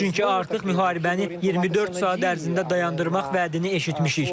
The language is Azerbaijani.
Çünki artıq müharibəni 24 saat ərzində dayandırmaq vədini eşitmişik.